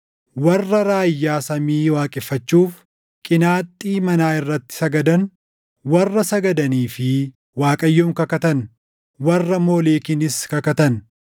warra raayyaa samii waaqeffachuuf qinaaxxii manaa irratti sagadan, warra sagadanii fi Waaqayyoon kakatan, warra Moolekiinis kakatan,